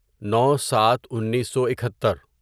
نو سات انیسو اکھتر